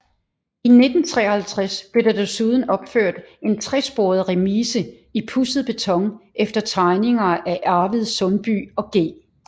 I 1953 blev der desuden opført en tresporet remise i pudset beton efter tegninger af Arvid Sundby og G